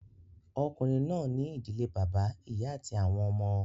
Ọkùnrin náà ní ìdílé bàbá, ìyá àti àwọn ọmọ